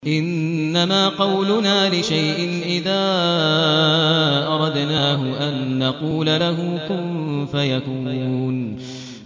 إِنَّمَا قَوْلُنَا لِشَيْءٍ إِذَا أَرَدْنَاهُ أَن نَّقُولَ لَهُ كُن فَيَكُونُ